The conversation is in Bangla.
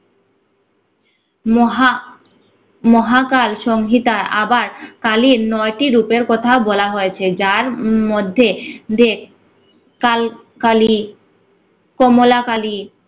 মহা মহাকাল সংগীতা আবার কালির নয়টি রূপের কথা বলা হয়েছে যার উম মধ্যে ধে কাল কালী, কমলা কালী